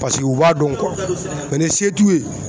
Paseke u b'a dɔn ni se t'u ye